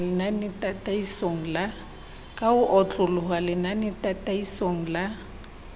ka ho otloloha lenanetataisong la